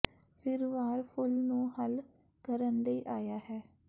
ਫਿਰ ਵਾਰ ਫੁੱਲ ਨੂੰ ਹੱਲ ਕਰਨ ਲਈ ਆਇਆ ਹੈ